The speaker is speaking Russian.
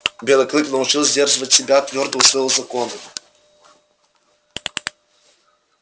белый клык научился сдерживать себя твёрдо усвоил законы